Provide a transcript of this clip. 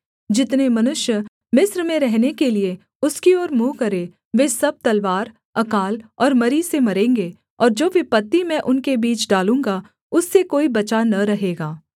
जितने मनुष्य मिस्र में रहने के लिये उसकी ओर मुँह करें वे सब तलवार अकाल और मरी से मरेंगे और जो विपत्ति मैं उनके बीच डालूँगा उससे कोई बचा न रहेगा